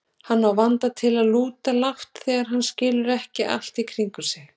Hann á vanda til að lúta lágt þegar hann skilur ekki allt í kringum sig.